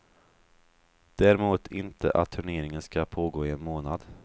Däremot inte att turneringen ska pågå i en månad.